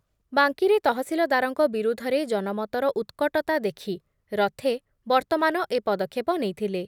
ବାଙ୍କୀରେ ତହସିଲଦାରଙ୍କ ବିରୁଦ୍ଧରେ ଜନମତର ଉତ୍କଟତା ଦେଖି ରଥେ ବର୍ତ୍ତମାନ ଏ ପଦକ୍ଷେପ ନେଇଥିଲେ ।